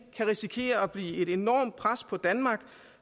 risikere at blive et enormt pres på danmark